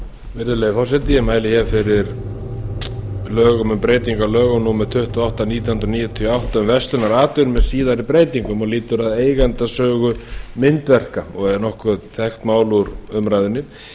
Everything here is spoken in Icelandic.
virðulegi forseti ég mæli fyrir frumvarpi til laga um breytingu á lögum númer tuttugu og átta nítján hundruð níutíu og átta um verslunaratvinnu með síðari breytingum og lýtur að eigendasögu myndverka og er nokkuð þekkt mál úr umræðunni